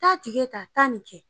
Taa ta taa nin kɛ.